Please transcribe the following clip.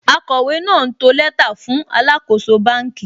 Akọ̀wé náà ń to lẹ́tà fún alàkóso bánkì